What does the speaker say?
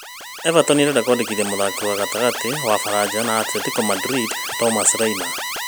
Everton ĩrenda kũmwandĩkithia mũthaki wa gatagatĩ wa baranja na Atletico Madrid Thomas Lemar.